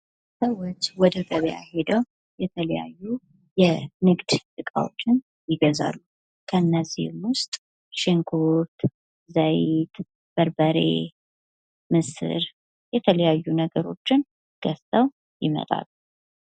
ሰዎች ወደ ገበያ ሄደው የተለያዩ የንግድ እቃዎችን ይገዛሉ። ከእነዚህም ውስጥ ሽንኩርት፣ ዘይት በርበሬ፣ ምስር የተለያዩ ነገሮችን ገዝተው ይመጣሉ።